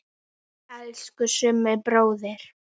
Elsku Summi bróðir.